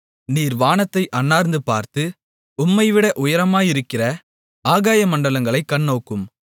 நீர் வானத்தை அண்ணாந்து பார்த்து உம்மைவிட உயரமாயிருக்கிற ஆகாயமண்டலங்களைக் கண்ணோக்கும்